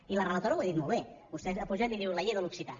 i la relatora ho ha dit molt bé vostè ha pujat i ha dit la llei de l’occità